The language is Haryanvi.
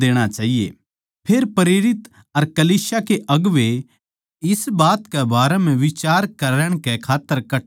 फेर प्रेरित अर कलीसिया के अगुवें इस बात कै बारै म्ह बिचार करण कै खात्तर कट्ठे होए